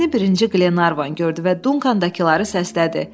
Gəmini birinci Qlenarvan gördü və Dunkandakıları səslədi.